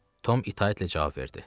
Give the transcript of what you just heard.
Tom itaətlə cavab verdi.